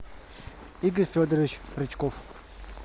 игорь федорович рычков